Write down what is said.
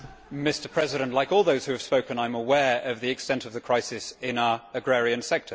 Mr President, like all those who have spoken I am aware of the extent of the crisis in our agrarian sector.